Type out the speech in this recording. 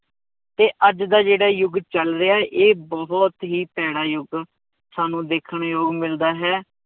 ਤੇ ਅੱਜ ਦਾ ਜਿਹੜਾ ਯੁੱਗ ਚੱਲ ਰਿਹਾ ਇਹ ਬਹੁਤ ਹੀ ਭੈੜਾ ਯੁੱਗ ਸਾਨੂੰ ਦੇਖਣ ਨੂੰ ਮਿਲਦਾ ਹੈ